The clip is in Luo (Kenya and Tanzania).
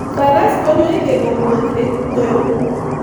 Faras konyo e geng'o wuoth e kwoyo.